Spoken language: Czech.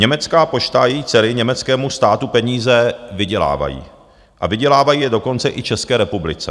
Německá pošta a její dcery německému státu peníze vydělávají, a vydělávají je dokonce i České republice.